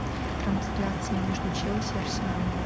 трансляция между челси и арсеналом